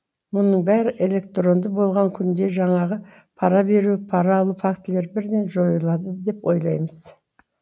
мұның бәрі электронды болған күнде жаңағы пара беру пара алу фактілері бірден жойылады деп ойлаймыз